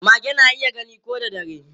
Mage na iya gani ko da dare.